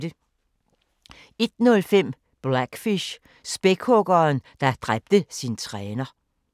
01:05: Blackfish – Spækhuggeren, der dræbte sin træner